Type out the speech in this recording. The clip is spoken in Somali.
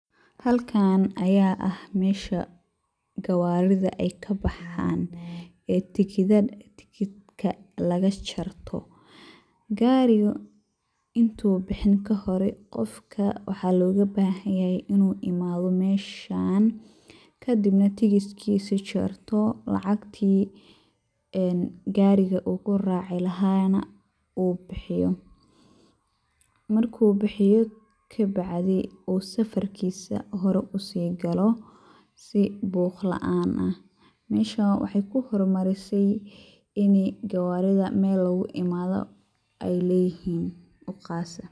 Halkan aya ah mesha gawaarida ay kabaxan ee tikitka lagajarto, gaariga intu bixin kahore qofka waxaa loga bahan yahay inu imaado meshan kadibna tikitkiise jarto lacagtii en gaari uu kuraaci laha na bixiyo, marku bixiyo kabacdi uu safarkisa hor usi galo si buq laan ah, meshan waxay kuhor marisey ini gawaarida Mel logu imado ay leyihiin oo qas ah.